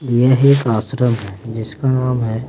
यह एक आश्रम है जिसका नाम है--